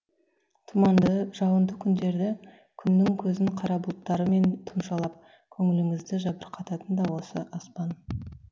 тұманды жауынды күндері күннің көзін қара бұлттарымен тұмшалап көңіліңізді жабырқататын да осы аспан